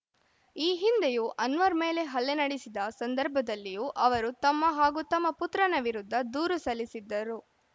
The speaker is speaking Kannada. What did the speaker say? ಈ ಹಿಂದೆಯೂ ಅನ್ವರ್‌ ಮೇಲೆ ಹಲ್ಲೆ ನಡೆಸಿದ ಸಂದರ್ಭದಲ್ಲಿಯೂ ಅವರು ತಮ್ಮ ಹಾಗೂ ತಮ್ಮ ಪುತ್ರನ ವಿರುದ್ಧ ದೂರು ಸಲ್ಲಿಸಿದ್ದರು